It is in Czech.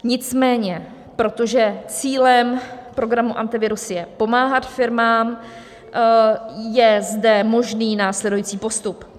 Nicméně protože cílem programu Antivirus je pomáhat firmám, je zde možný následující postup.